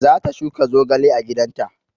Za ta shuka zogale a gidan ta